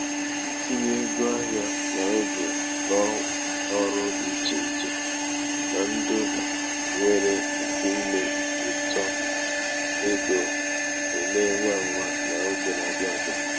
itinye ego ahịa n'oge n'ọrụ dị iche iche na ndụ nwere ike ime uto ego emee ngwa ngwa n'oge na-abịa abịa.